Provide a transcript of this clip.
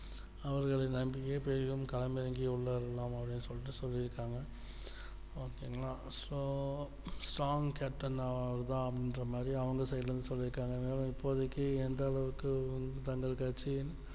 அவர்களின் நன்றியை தெரிந்தே களம் இறங்கி உள்ளார்கள் அப்டின்டு சொல்லி இருக்காங்க okay ங்களா so strong captain அவர்தான் அப்படின்ற மாதிரி அவங்க side ல இருந்து சொல்லி இருக்காங்க இப்போதைக்கு எந்த அளவுக்கு தங்கள்கட்சியின்